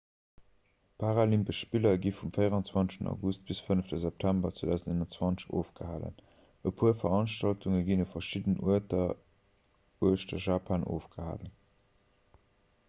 d'paralympesch spiller gi vum 24 august bis zum 5 september 2021 ofgehalen e puer veranstaltunge ginn u verschiddenen uerter uechter japan ofgehalen